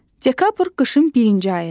Dekabr qışın birinci ayıdır.